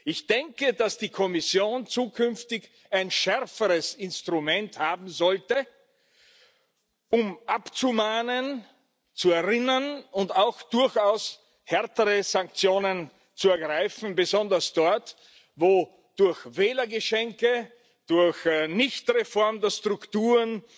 Ich denke, dass die Kommission zukünftig ein schärferes Instrument haben sollte, um abzumahnen, zu erinnern und auch durchaus härtere Sanktionen zu ergreifen, besonders dort, wo durch Wählergeschenke durch Nichtreform der Strukturen